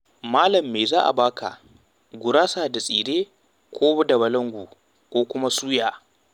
Malam me za a ba ka? Gurasa da tsire ko da balangu ko kuma suya?